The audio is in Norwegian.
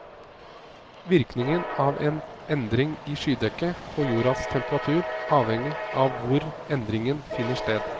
Virkningen av en endring i skydekket på jordas temperatur avhenger av hvor endringen finner sted.